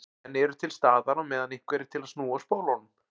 En eru til staðar á meðan einhver er til að snúa spólunum.